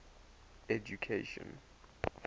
education